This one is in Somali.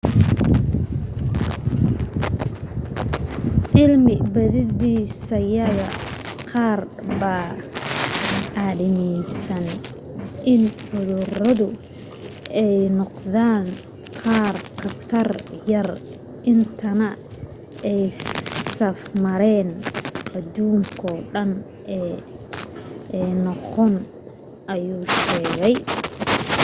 cilmi baadhisyada qaar baa aaminsan in cuduradu ay noqdaan qaar khatar yar intaanay safmareen aduunkoo dhan ah noqon ayuu sheegay